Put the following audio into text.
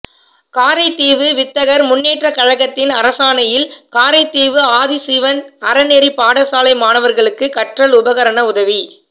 காரைதீவு வித்தகர் முன்னேற்றக் கழகத்தின் அனுசரணையில் காரைதீவு ஆதிசிவன் அறநெறிப் பாடசாலை மாணவர்களுக்கு கற்றல் உபகரண உதவி